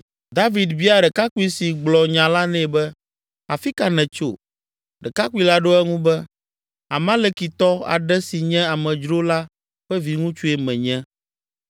David bia ɖekakpui si gblɔ nya la nɛ be, “Afi ka nètso?” Ɖekakpui la ɖo eŋu be, “Amalekitɔ aɖe si nye amedzro la ƒe viŋutsue menye.”